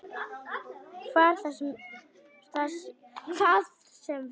Hvað sem það var.